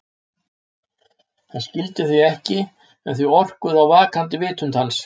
Hann skildi þau ekki en þau orkuðu á vaknandi vitund hans.